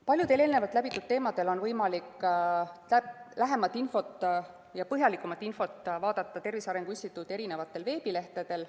Paljudel eelnevalt käsitletud teemadel on võimalik põhjalikumat infot vaadata Tervise Arengu Instituudi veebilehtedel.